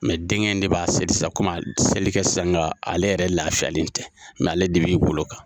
denkɛ in de b'an seli sisan a te seli kɛ sisan ale yɛrɛ lafiyalen tɛ ale de b'i golo kan.